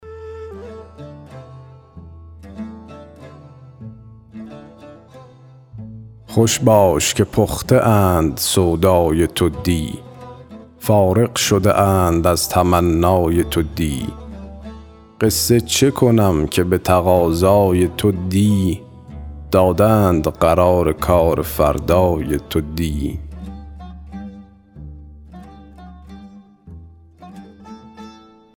خوش باش که پخته اند سودای تو دی فارغ شده اند از تمنای تو دی قصه چه کنم که به تقاضای تو دی دادند قرار کار فردای تو دی